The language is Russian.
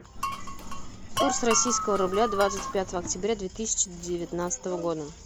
курс российского рубля двадцать пятого октября две тысячи девятнадцатого года